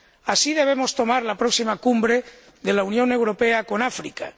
Así debemos tomar la próxima cumbre de la Unión Europea con África.